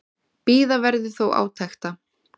Bíða verði þó átekta.